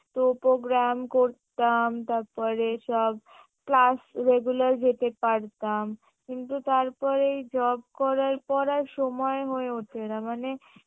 তো program করতাম তারপরে সব class regular যেতে পারতাম কিন্তু তারপরেই job করায় করার সময় হয়ে ওঠে না মানে